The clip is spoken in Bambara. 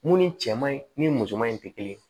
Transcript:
Mun ni cɛman ni musoman in tɛ kelen ye